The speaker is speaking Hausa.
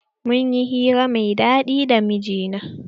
Mun yi hira mai daɗi da mijina.